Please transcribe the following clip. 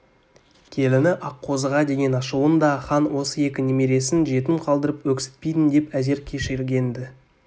келіні аққозыға деген ашуын да хан осы екі немересін жетім қалдырып өксітпейін деп әзер кешірген-ді